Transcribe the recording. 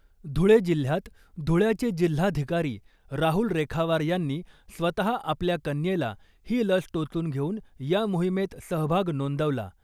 धुळे जिल्ह्यात धुळ्याचे जिल्हाधिकारी राहुल रेखावार यांनी स्वतः आपल्या कन्येला ही लस टोचून घेऊन या मोहीमेत सहभाग नोंदवला .